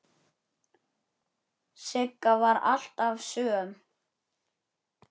Sigga var alltaf söm.